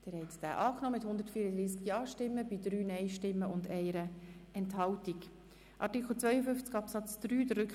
Sie haben den Antrag von Regierungsrat und SiK-Mehrheit mit 108 zu 27 Stimmen bei 3 Enthaltungen angenommen.